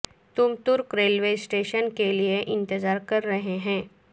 تم ترک railway station کے لئے انتظار کر رہے ہیں